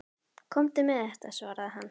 Komdu með þetta, svaraði hann.